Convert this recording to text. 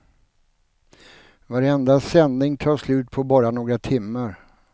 Varenda sändning tar slut på bara några timmar.